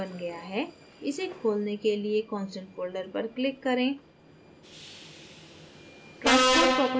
constant folder बन गया है इसे खोलने के लिए constant folder पर click करें